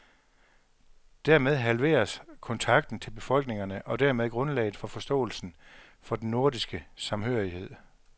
Dermed halveres kontakten til befolkningerne og dermed grundlaget for forståelsen for den nordiske samhørighed.